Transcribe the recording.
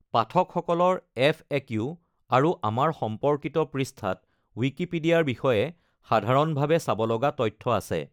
পাঠকসকলৰ FAQ আৰু আমাৰ সম্পৰ্কিত পৃষ্ঠাত ৱিকিপিডিয়াৰ বিষয়ে সাধাৰণভাৱে চাব লগা তথ্য আছে।